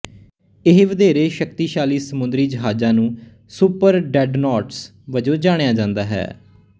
ਇਹ ਵਧੇਰੇ ਸ਼ਕਤੀਸ਼ਾਲੀ ਸਮੁੰਦਰੀ ਜਹਾਜ਼ਾਂ ਨੂੰ ਸੁਪਰਡ੍ਰੈਡਨੋਟਸ ਵਜੋਂ ਜਾਣਿਆ ਜਾਂਦਾ ਹੈ